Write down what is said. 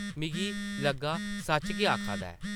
मिगी लग्गा सच्च गै आखा दा ऐ ।